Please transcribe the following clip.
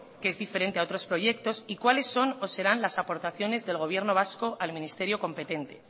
que es diferente a otros proyectos y cuáles son o serán las aportaciones del gobierno vasco al ministerio competente